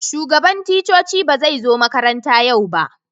Shugaban ticcoci ba zai zo makaranta yau ba.